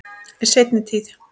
Í seinni tíð.